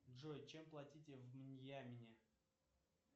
джой чем платить в мьянме